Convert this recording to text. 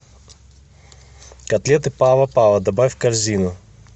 котлеты пава пава добавь в корзину